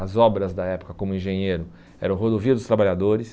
As obras da época, como engenheiro, eram Rodovia dos Trabalhadores.